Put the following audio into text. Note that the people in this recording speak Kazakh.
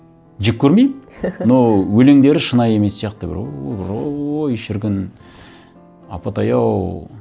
жек көрмеймін но өлеңдері шынайы емес сияқты бір ооо бір ооой шіркін апатай ау